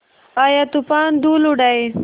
आया तूफ़ान धूल उड़ाए